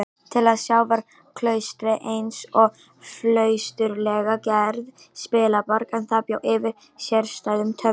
Til að sjá var klaustrið einsog flausturslega gerð spilaborg, en það bjó yfir sérstæðum töfrum.